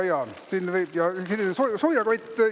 Ja siin on siis soojakott.